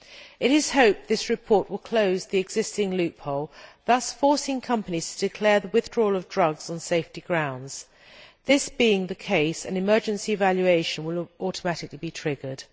It is hoped that this report will close the existing loophole, thus forcing companies to declare the withdrawal of drugs on safety grounds. This being the case, an emergency evaluation will automatically be triggered.